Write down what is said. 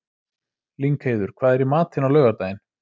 Lyngheiður, hvað er í matinn á laugardaginn?